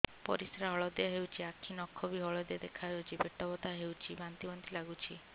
ପରିସ୍ରା ହଳଦିଆ ହେଉଛି ଆଖି ନଖ ବି ହଳଦିଆ ଦେଖାଯାଉଛି ପେଟ ବଥା ହେଉଛି ବାନ୍ତି ବାନ୍ତି ଲାଗୁଛି